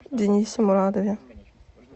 денисе мурадове